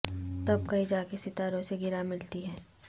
تب کہیں جا کے ستاروں سے گراں ملتی ہیں